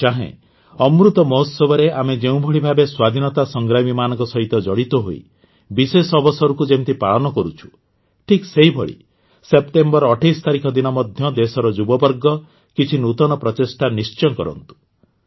ମୁଁ ଚାହେଁ ଅମୃତ ମହୋତ୍ସବରେ ଆମେ ଯେଉଁଭଳି ଭାବେ ସ୍ୱାଧୀନତା ସଂଗ୍ରାମୀମାନଙ୍କ ସହିତ ଜଡ଼ିତ ହୋଇ ବିଶେଷ ଅବସରକୁ ଯେମିତି ପାଳନ କରୁଛୁ ଠିକ ସେହିଭଳି ସେପ୍ଟେମ୍ବର ୨୮ ତାରିଖ ଦିନ ମଧ୍ୟ ଦେଶର ଯୁବବର୍ଗ କିଛି ନୂତନ ପ୍ରଚେଷ୍ଟା ନିଶ୍ଚୟ କରନ୍ତୁ